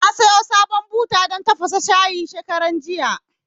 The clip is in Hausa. Na sayo sabon buta dan tafasa shayi shekaran jiya